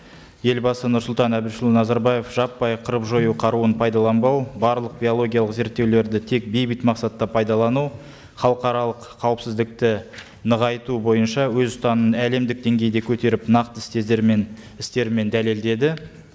елбасы нұрсұлтан әбішұлы назарбаев жаппай қырып жою қаруын пайдаланбау барлық биологиялық зерттеулерді тек бейбіт мақсатта пайдалану халықаралық қауіпсіздікті нығайту бойынша өз ұстанымын әлемдік деңгейде көтеріп нақты істермен дәлелдеді